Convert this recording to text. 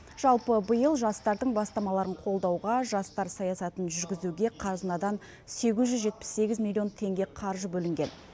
жалпы биыл жастардың бастамаларын қолдауға жастар саясатын жүргізуге қазынадан сегіз жүз жетпіс сегіз миллион теңге қаржы бөлінген